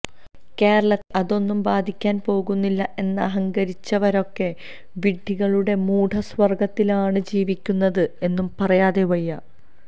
കേരളത്തെ അതൊന്നും ബാധിക്കാൻ പോകുന്നില്ല എന്നഹങ്കരിച്ചവരൊക്കെ വിഡ്ഢികളുടെ മൂഢ സ്വർഗത്തിലാണ് ജീവിക്കുന്നത് എന്നു പറയാതെ വയ്യ